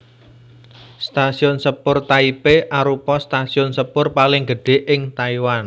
Stasiun Sepur Taipei arupa stasiun sepur paling gedhé ing Taiwan